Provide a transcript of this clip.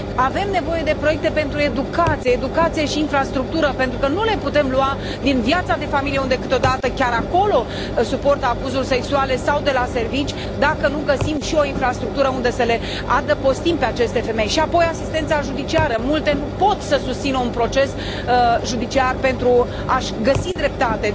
Avem nevoie de proiecte pentru educație, educație și infrastructură, pentru că nu le putem lua din viața de familie unde, câteodată, chiar acolo suportă abuzuri sexuale sau de la serviciu dacă nu găsim și o infrastructură unde să le adăpostim pe aceste femei și, apoi, asistența judiciară multe nu pot să susțină un proces judiciar pentru a și găsi dreptatea.